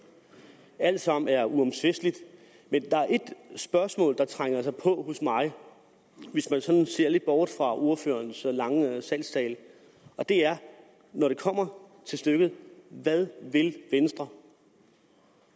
alt sammen er uomtvisteligt men der er ét spørgsmål der trænger sig på hos mig hvis jeg sådan ser lidt bort fra ordførerens lange salgstale og det er når det kommer til stykket hvad vil venstre